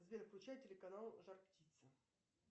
сбер включай телеканал жар птица